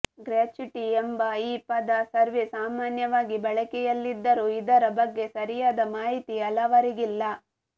gratuity ಎಂಬ ಈ ಪದ ಸರ್ವೇ ಸಾಮಾನ್ಯವಾಗಿ ಬಳಕೆಯಲ್ಲಿದ್ದರೂ ಇದರ ಬಗ್ಗೆ ಸರಿಯಾದ ಮಾಹಿತಿ ಹಲವರಿಗಿಲ್ಲ